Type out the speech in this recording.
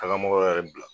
Taga mɔgɔ wɛrɛ bila